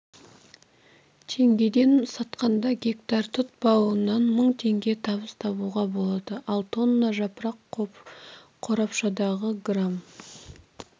теңгеден сатқанда гектар тұт бауынан мың теңге табыс табуға болады ал тонна жапырақ қорапшадағы грамм